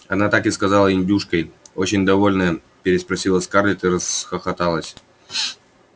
она так и сказала индюшкой очень довольная переспросила скарлетт и расхохоталась